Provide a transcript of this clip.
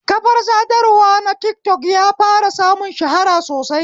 Kafar sadarwa na tikatok ya fara samun shahara sosai